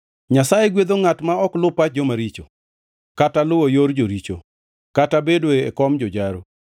Nyasaye gwedho ngʼat ma ok lu pach joma richo, kata luwo yor joricho kata bedo e kom jojaro.